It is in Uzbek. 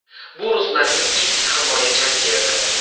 Bu Ruslanning ilk himoya jangi edi.